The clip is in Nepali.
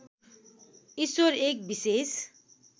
ईश्वर एक विशेष